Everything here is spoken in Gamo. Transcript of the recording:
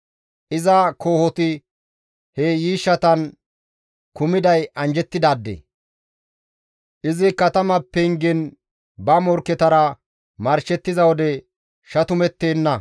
Iza kohoti he yiishshatan kumiday anjjettidaade. Izi katama pengen ba morkketara marshettiza wode shatumettenna.